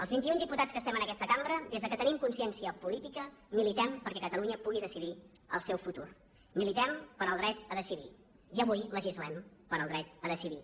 els vintiun diputats que estem en aquesta cambra des que tenim consciència política militem perquè catalunya pugui decidir el seu futur militem pel dret a decidir i avui legislem pel dret a decidir